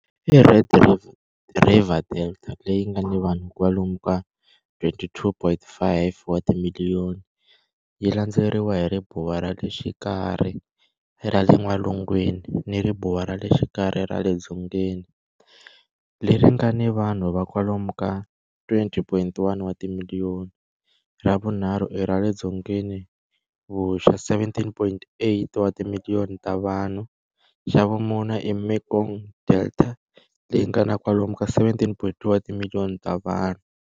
I Red River Delta leyi nga ni vanhu va kwalomu ka 22,5 wa timiliyoni, yi landzeriwa hi Ribuwa ra le Xikarhi ra le N'walungwini ni Ribuwa ra le Xikarhi ra le Dzongeni leri nga ni vanhu va kwalomu ka 20,1 wa timiliyoni, ra vunharhu i ra le Dzongeni-vuxa 17.8 wa timiliyoni ta vanhu, xa vumune i Mekong Delta leyi nga na kwalomu ka 17.2 wa timiliyoni ta vanhu.